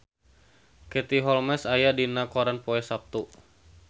Katie Holmes aya dina koran poe Saptu